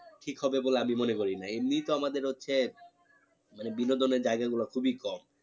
ঠিক হবে বলে আমি মনে করি না এমনি তো আমাদের হচ্ছে মানে বিনোদনের জায়গা গুলো খুবই কম